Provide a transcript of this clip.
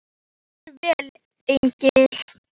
Steinfinnur, hvað er í dagatalinu mínu í dag?